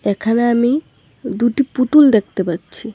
এখানে আমি দুটি পুতুল দেখতে পাচ্ছি।